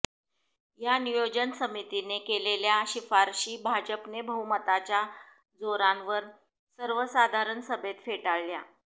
या नियोजन समितीने केलेल्या शिफारशी भाजपने बहुमताच्या जोरावर सर्वसाधारण सभेत फेटाळल्या